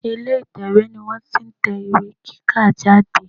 Ilè ìtẹ̀wé ni wọ́n ti n tẹ ìwé kíkà jáde